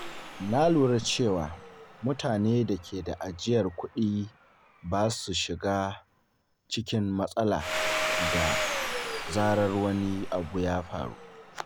Na lura cewa mutane da ke da ajiyar kuɗi ba sa shiga cikin matsala da zarar wani abu ya faru.